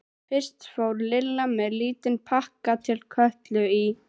Fyrst fór Lilla með lítinn pakka til Kötu í